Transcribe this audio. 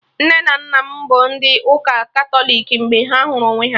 Nne na nna m bụ ndị ụka Katọlik mgbe ha hụrụ onwe ha